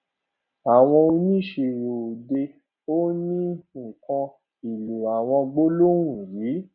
àwọn oníṣirò òde òní ń kọ ìlò àwọn gbólóhùn yìí